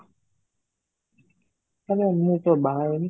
ଆରେ, ମୁଁ ତ ବାହା ହେଇନି